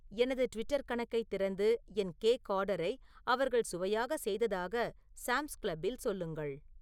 எனது ட்விட்டர் கணக்கைத் திறந்து என் கேக் ஆர்டரை அவர்கள் சுவையாக செய்ததாக சாம்ஸ் கிளப்பில் சொல்லுங்கள்